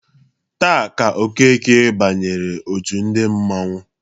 Taa ka Okeke banyere òtù ndị mmanwu.